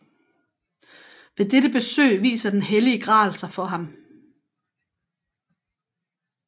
Ved dette besøg viser den hellige gral sig for ham